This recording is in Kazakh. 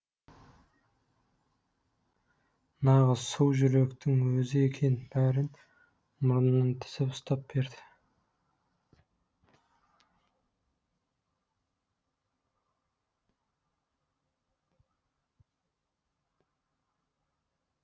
нағыз су жүректің өзі екен бәрін мұрнынан тізіп ұстап береді